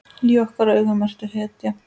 Í okkar augum ertu hetja.